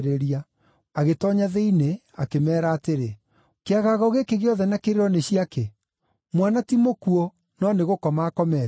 Agĩtoonya thĩinĩ akĩmeera atĩrĩ, “Kĩagago gĩkĩ gĩothe na kĩrĩro nĩ cia kĩ? Mwana ti mũkuũ, no nĩ gũkoma akomete.”